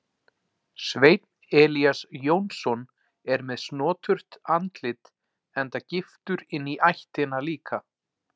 Sveinn Elías Jónsson er með snoturt andlit enda giftur inní ættina líka.